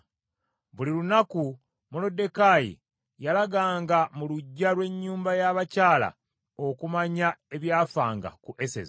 Buli lunaku Moluddekaayi yalagangako mu luggya lw’ennyumba ya bakyala okumanya ebyafanga ku Eseza.